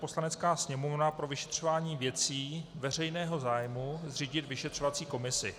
Poslanecká sněmovna pro vyšetřování věcí veřejného zájmu zřídit vyšetřovací komisi -